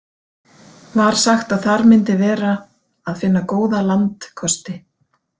Var sagt að þar myndi vera að finna góða landkosti.